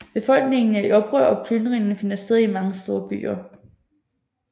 Befolkningen er i oprør og plyndringer finder sted i mange store byer